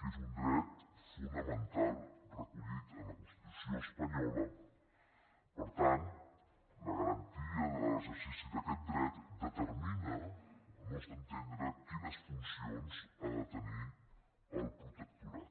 que és un dret fonamental recollit en la constitució espanyola per tant la garantia de l’exercici d’aquest dret determina al nostre entendre quines funcions ha de tenir el protectorat